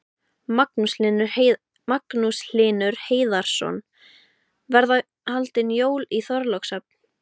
Magnús Hlynur Hreiðarsson: Verða haldin jól í Þorlákshöfn?